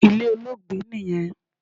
Ilé Olóògbé niyẹn